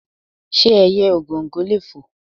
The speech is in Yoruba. Ṣé ẹyẹ Ògòǹgò lè fò?